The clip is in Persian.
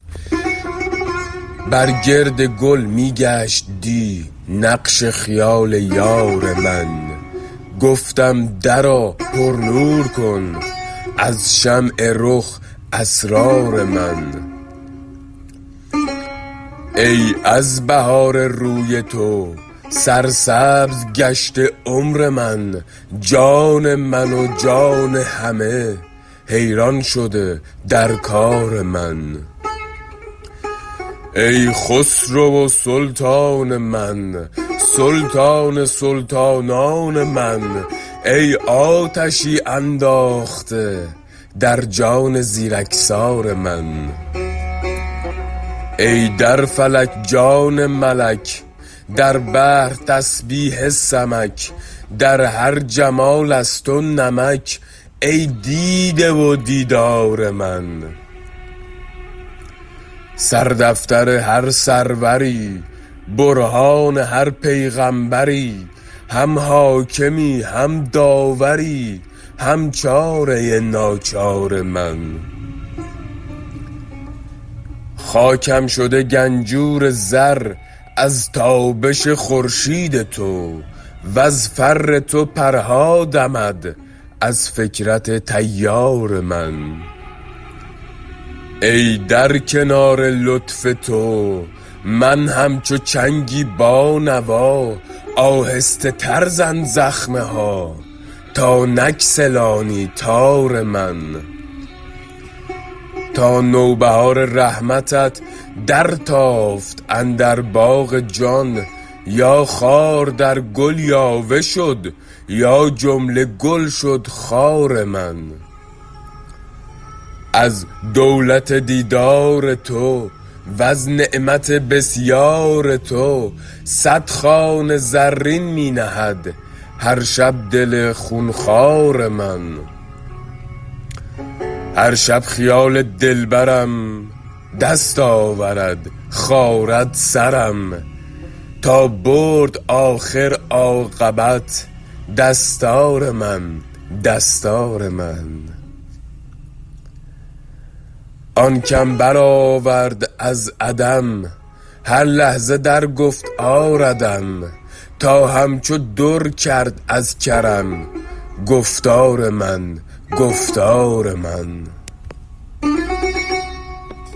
بر گرد گل می گشت دی نقش خیال یار من گفتم درآ پرنور کن از شمع رخ اسرار من ای از بهار روی تو سرسبز گشته عمر من جان من و جان همه حیران شده در کار من ای خسرو و سلطان من سلطان سلطانان من ای آتشی انداخته در جان زیرکسار من ای در فلک جان ملک در بحر تسبیح سمک در هر جمال از تو نمک ای دیده و دیدار من سردفتر هر سروری برهان هر پیغامبری هم حاکمی هم داوری هم چاره ناچار من خاکم شده گنجور زر از تابش خورشید تو وز فر تو پرها دمد از فکرت طیار من ای در کنار لطف تو من همچو چنگی بانوا آهسته تر زن زخمه ها تا نگسلانی تار من تا نوبهار رحمتت درتافت اندر باغ جان یا خار در گل یاوه شد یا جمله گل شد خار من از دولت دیدار تو وز نعمت بسیار تو صد خوان زرین می نهد هر شب دل خون خوار من هر شب خیال دلبرم دست آورد خارد سرم تا برد آخر عاقبت دستار من دستار من آن کم برآورد از عدم هر لحظه در گفت آردم تا همچو در کرد از کرم گفتار من گفتار من